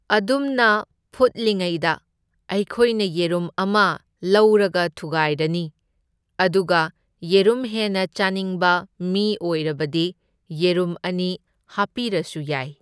ꯑꯗꯨꯝꯅ ꯐꯨꯠꯂꯤꯉꯩꯗ ꯑꯩꯈꯣꯏꯅ ꯌꯦꯔꯨꯝ ꯑꯃ ꯂꯧꯔꯒ ꯊꯨꯒꯥꯏꯔꯅꯤ ꯑꯗꯨꯒ ꯌꯦꯔꯨꯝ ꯍꯦꯟꯅ ꯆꯥꯅꯤꯡꯕ ꯃꯤ ꯑꯣꯏꯔꯕꯗꯤ ꯌꯦꯔꯨꯝ ꯑꯅꯤ ꯍꯥꯞꯄꯤꯔꯁꯨ ꯌꯥꯏ꯫